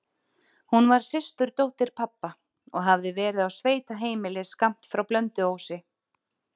Hún var systurdóttir pabba og hafði verið á sveitaheimili skammt frá Blönduósi.